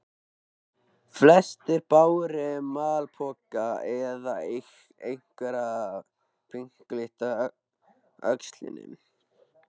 Flestir báru malpoka eða einhverja pinkla á öxlunum.